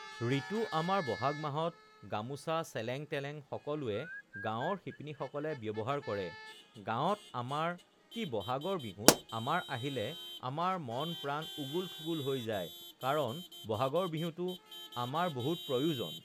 ঋতু আমাৰ বহাগ মাহত গামোচা চেলেং-তেলেং সকলোৱে গাঁৱৰ শিপিনীসকলে ব্যৱহাৰ কৰে গাঁৱত আমাৰ কি বহাগৰ বিহুত আমাৰ আহিলে আমাৰ মন-প্ৰাণ উগুল-থুগুল হৈ যায় কাৰণ বহাগৰ বিহুটো আমাৰ বহুত প্ৰয়োজন